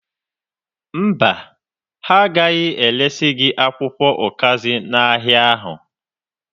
Mba, ha agaghị eresi gị akwụkwọ ụkazị n'ahịa ahụ.